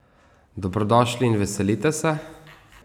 Dobrodošli in veselite se!